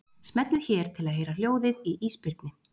Smellið hér til að heyra hljóðið í ísbirni.